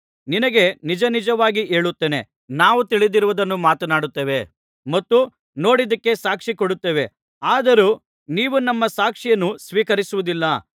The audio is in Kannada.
ನಿನಗೆ ನಿಜನಿಜವಾಗಿ ಹೇಳುತ್ತೇನೆ ನಾವು ತಿಳಿದಿರುವುದನ್ನು ಮಾತನಾಡುತ್ತೇವೆ ಮತ್ತು ನೋಡಿದ್ದಕ್ಕೆ ಸಾಕ್ಷಿ ಕೊಡುತ್ತೇವೆ ಆದರೂ ನೀವು ನಮ್ಮ ಸಾಕ್ಷಿಯನ್ನು ಸ್ವೀಕರಿಸುವುದಿಲ್ಲ